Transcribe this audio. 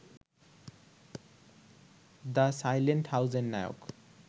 the silent হাউস-এর নায়ক